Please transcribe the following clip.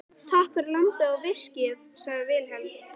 Takk fyrir lambið og viskíið, sagði Vilhelm.